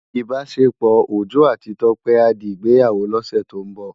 Ibásépò Ojo áti Tope á di Igbéyáwó lòsè tó n bò